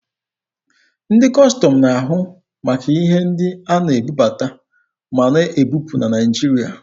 Ndị Kọstọm na-ahụ maka ihe ndị a na-ebubata ma na-ebupụ na Naịjirịa.